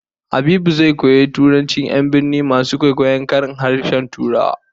Habibu wai zai koyi irin turancin 'yan birni masu kwaikwayon karin harshen Turawa